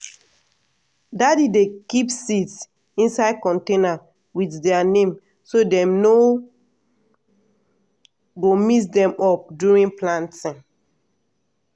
daddy dey keep seeds inside container with their name so dem no go mix them up during planting.